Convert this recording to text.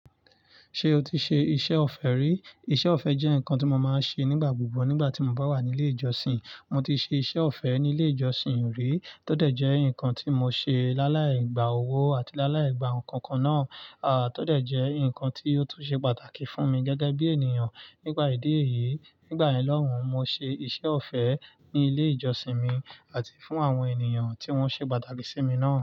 Ṣé o ti ṣe iṣẹ́ ọ̀fẹ́ rí? Iṣẹ́ ọ̀fẹ́ jẹ́ nǹkan tí mo máa ń ṣe nígbà gbogbo nígbà tí mo bá wà ní ilé ìjọsìn. Mo ti ṣe iṣẹ́ ọ̀fẹ́ ní ilé ìjọsìn rí, tó dẹ̀ jẹ́ nǹkan tí mo ṣe láláì gba owó àti láláì gba ǹkan kan náà, tó dẹ̀ jẹ́ nǹkan tí ó tún ṣe pàtàkì fún mi gẹ́gẹ́ bí ènìyàn nípà ìdí èyí. Nígbà yen loun mo ṣe iṣẹ́ ọ̀fẹ́ ní ilé ìjọsìn mi àti fún àwọn ènìyàn tí wọ́n ṣe pàtàkì sí mi náà.